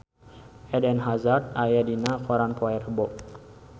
Eden Hazard aya dina koran poe Rebo